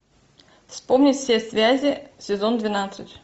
вспомнить все связи сезон двенадцать